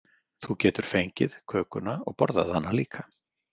Þú getur fengið kökuna og borðað hana líka.